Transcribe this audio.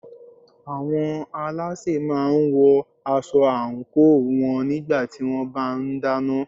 Àwọn alásè máà ń wọ aṣọ àńkò wọn nígbà tí wọ́n bá ń dáná.